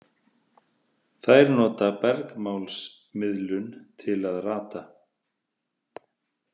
Þær nota bergmálsmiðlun til að rata.